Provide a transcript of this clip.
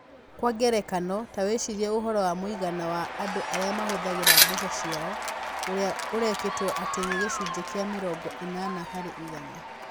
Kwa ngerekano, ta wĩcirie ũhoro wa mũigana wa andũ arĩa mahũthagĩra mbeca ciao, ũrĩa ũrekĩrĩtwo atĩ nĩ gĩcunjĩ kĩa mĩrongo ĩnana harĩ igana.